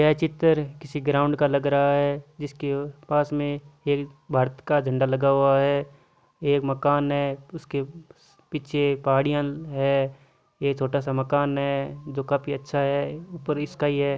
यह चित्र किसी ग्राउड़ का लग रहा है जिसके पास में एक भारत का झंडा लगा हुआ है एक मकान है उसके पीछे पहाड़ियाँ है एक छोटा सा मकान है जो काफी अच्छा है ऊपर स्काई है।